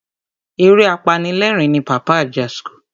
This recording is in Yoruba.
Eré apanilerin ni Pàpá Ajasco.